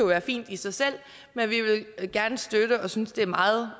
være fint i sig selv og vi vil gerne støtte det og synes det er meget